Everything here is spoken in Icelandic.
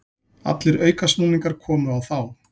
Allir aukasnúningar komu á þá.